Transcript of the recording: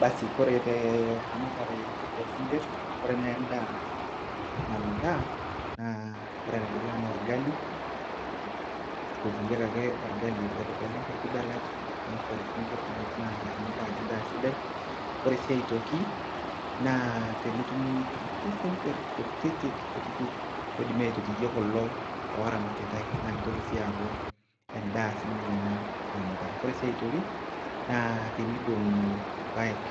Basi kore teramatare oosinkirr, kore naa endaa namitaa naa ore enedukuya naa olgali. Eitotieki ake olgali, ebelibeli nkutiti belat neishori sinkirr naa emitaa ajo endaa sidai. Ore sii aitoki naa tenetumi ilkutiti sinkirr kutitik kutitik oidimi aitotie kulo ooramatati naa keitoki sii aku endaa sii ninye ina namitaa. Kore sii aitoki naa teneidong'i ilpaek,